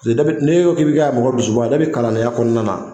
ne e ko k'i bɛ kɛ mɔgɔ dusuba kalandenya kɔnɔna na.